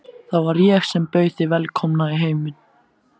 Það var ég sem bauð þig velkomna í heiminn.